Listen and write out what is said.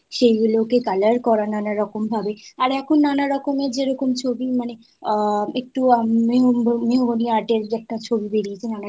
"সেগুলোকে colour করা নানা রকম ভাবে। আর এখন নানা রকমের যে রকম ছবি মানে আ একটু art এর যে একটা ছবি বেরিয়েছে নানারকম